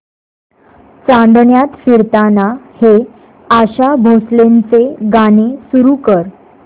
चांदण्यात फिरताना हे आशा भोसलेंचे गाणे सुरू कर